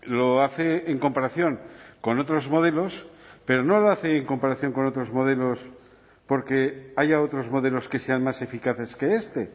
lo hace en comparación con otros modelos pero no lo hace en comparación con otros modelos porque haya otros modelos que sean más eficaces que este